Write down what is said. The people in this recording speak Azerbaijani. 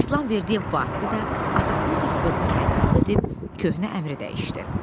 İslamverdiyev Vahidi də atasını da hörmətlə qəbul edib köhnə əmri dəyişdi.